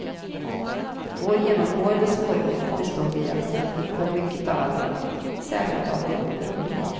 Vår genomgående svårighet bestod i att vi fick för mycket av allting, särskilt av det roliga.